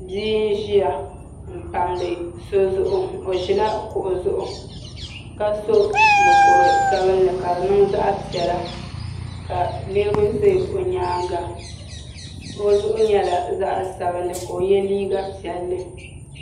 Bia n ʒiya n pamdi so zuɣu o ʒila kuɣu zuɣua ka so mokuru sabinli ka di niŋ zaɣ piɛla ka niraba ʒɛ o nyaanga o zuɣu nyɛla zaɣ sabinli ka o yɛ liiga piɛlli